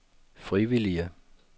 frivillige